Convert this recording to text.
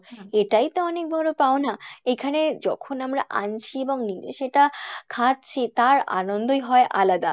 এটাই তো অনেক বড় পাওনা, এখানে যখন আমরা আনছি এবং নিজে সেটা খাচ্ছি তার আনন্দই হয় আলাদা